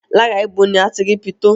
Lára ibo ni a ti rí pitó?